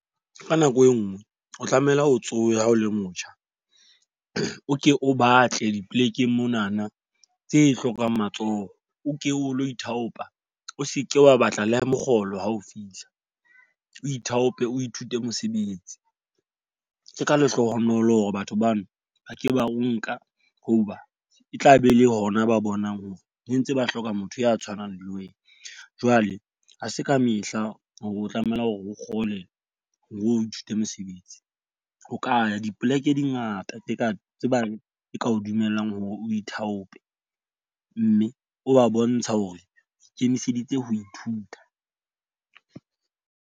Ka nako e nngwe, o tlamehile ho tsoha ha o le motjha. O ke o batle dipolekeng monana tse hlokang matsoho, o ke o lo ithaopa. O seke wa batla le mokgolo ha o fihla, o ithaope o ithute mosebetsi. Ke ka lehlohonolo hore batho bano ba ke ba o nka hoba e tlabe e le hona ba bonang hore ne ntse ba hloka motho ya tshwanang le wena. Jwale ha se ka mehla hore o tlameha hore o kgole hore o ithute mosebetsi. O ka ya dipoleke di ngata tse ka tsebang, e ka o dumellang hore o ithaope mme o ba bontsha hore ikemiseditse ho ithuta.